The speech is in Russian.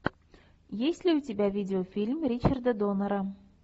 есть ли у тебя видеофильм ричарда доннера